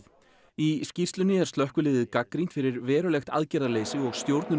í skýrslunni er slökkviliðið gagnrýnt fyrir verulegt aðgerðaleysi og